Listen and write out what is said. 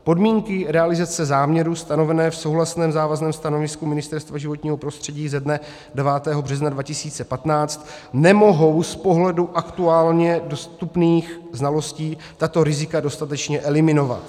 Podmínky realizace záměru stanové v souhlasném závazném stanovisku Ministerstva životního prostředí ze dne 9. března 2015 nemohou z pohledu aktuálně dostupných znalostí tato rizika dostatečně eliminovat.